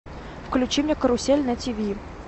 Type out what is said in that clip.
включи мне карусель на тв